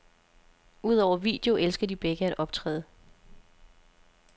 Udover video elsker de begge at optræde.